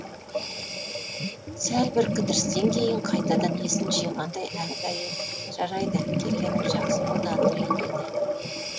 сәл бір кідірістен кейін қайтадан есін жиғандай әлгі әйел жарайды келгенің жақсы болды андрей деді